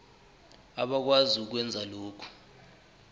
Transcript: abakwazi ukwenza lokhu